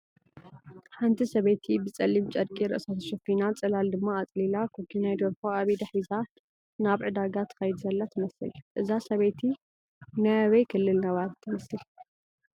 ሓንቲ ሰበየቲ ብፀሊም ጨርቂ ርእሳ ተሸፊና ፅላል ድማ ኣፅሊላ ኮኩናይ ደርሆ ኣብ ኢዳ ሒዛ ናብ ዕዳጋ ትኸይድ ዘላ ትመስል፡፡ እዛ ሰበይቲ ናይ ኣበይ ክልል ነባሪት ትመስል?